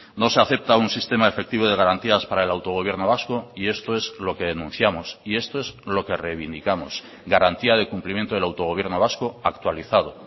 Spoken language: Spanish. no se acepta un sistema efectivo de garantías para el autogobierno vasco y esto es lo que denunciamos y esto es lo que reivindicamos garantía de cumplimiento del autogobierno vasco actualizado